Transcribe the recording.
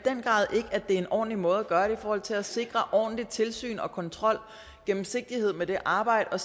at det er en ordentlig måde at gøre i forhold til at sikre et ordentligt tilsyn og kontrol og gennemsigtighed med det arbejde og